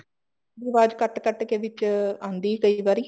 ਵਾਜ ਕੱਟ ਕੱਟ ਕੇ ਵਿੱਚ ਆਉਂਦੀ ਹੈ ਕਈ ਵਾਰੀ